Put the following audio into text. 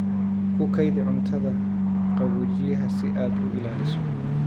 Ku kaydi cuntada qaboojiyaha si aad u ilaaliso.